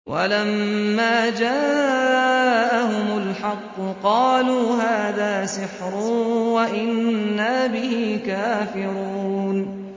وَلَمَّا جَاءَهُمُ الْحَقُّ قَالُوا هَٰذَا سِحْرٌ وَإِنَّا بِهِ كَافِرُونَ